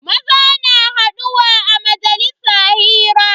Maza na haduwa a majalisa hira.